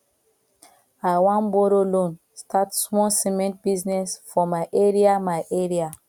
i wan borrow loan start small cement business for my area my area